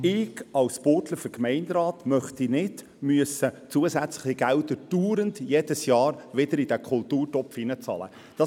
Ich als Burgdorfer Gemeinderat möchte nicht jedes Jahr wieder zusätzliche Gelder in diesen Kulturtopf bezahlen müssen.